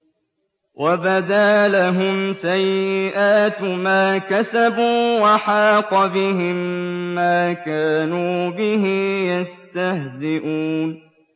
وَبَدَا لَهُمْ سَيِّئَاتُ مَا كَسَبُوا وَحَاقَ بِهِم مَّا كَانُوا بِهِ يَسْتَهْزِئُونَ